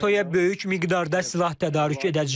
NATO-ya böyük miqdarda silah tədarük edəcəyik.